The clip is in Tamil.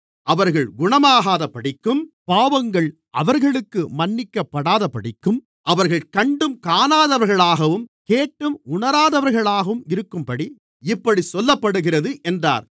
அவர்கள் குணமாகாதபடிக்கும் பாவங்கள் அவர்களுக்கு மன்னிக்கப்படாதபடிக்கும் அவர்கள் கண்டும் காணாதவர்களாகவும் கேட்டும் உணராதவர்களாகவும் இருக்கும்படி இப்படிச் சொல்லப்படுகிறது என்றார்